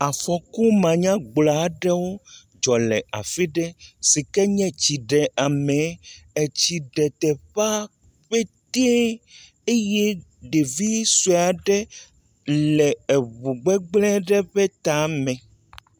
Afɔkumanyagblɔ aɖewo dzɔ le afi ɖe si ke nye etsiɖeamee. Etsi ɖe teƒea ƒetee eye ɖevi sue aɖe le eŋugbegblẽ ɖe ƒe tame.